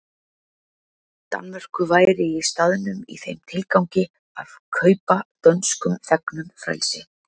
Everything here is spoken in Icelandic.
Danmörku væri í staðnum í þeim tilgangi að kaupa dönskum þegnum frelsi.